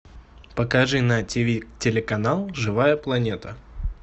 покажи на ти ви телеканал живая планета